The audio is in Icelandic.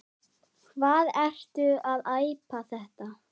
Hvað ertu að æpa þetta.